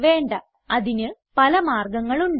വേണ്ട അതിന് പല മാർഗങ്ങൾ ഉണ്ട്